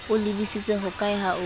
o lebisitse hokae ha o